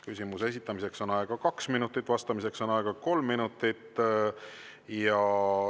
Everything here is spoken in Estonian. Küsimuse esitamiseks on aega kaks minutit, vastamiseks on aega kolm minutit.